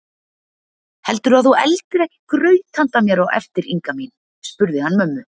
Heldurðu að þú eldir ekki graut handa mér á eftir Inga mín? spurði hann mömmu.